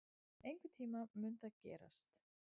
Einhvern tíma mun það gerast.